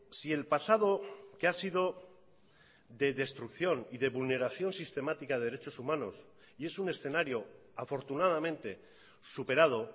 si el pasado que ha sido de destrucción y de vulneración sistemática de derechos humanos y es un escenario afortunadamente superado